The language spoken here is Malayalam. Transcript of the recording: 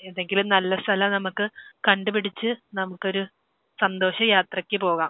ഏതെങ്കിലും ഒരു നല്ല സ്ഥലം നമുക്ക് കണ്ട് പിടിച്ച് നമുക്കൊരു സന്തോഷയാത്രയ്ക്ക് പോകാം.